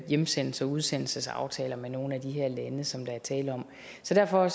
hjemsendelses og udsendelsesaftaler med nogle af de her lande som der er tale om så derfor